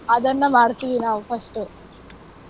ಅದನ್ನ ಮಾಡ್ತೀವಿ ನಾವ್ first .